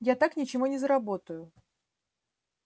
я так ничего не заработаю